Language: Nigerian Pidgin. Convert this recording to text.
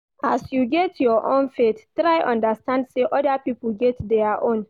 As you get your own faith, try understand sey oda pipo get their own.